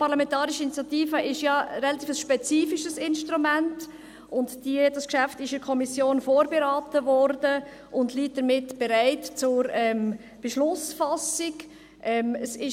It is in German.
Die Parlamentarische Initiative ist ein relativ spezifisches Instrument, und dieses Geschäft wurde von der Kommission vorberaten und liegt somit für die Beschlussfassung bereit.